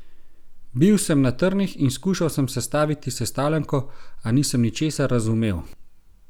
Bil sem na trnih in skušal sem sestaviti sestavljanko, a nisem ničesar razumel!